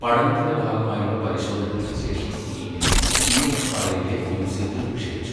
പഠനത്തിന്റെ ഭാഗമായുള്ള പരിശോധനകൾക്ക് ശേഷം മീനിനെ സിഎംഎഫ്ആർഐയിലെ മ്യൂസിയത്തിൽ നിക്ഷേപിച്ചു.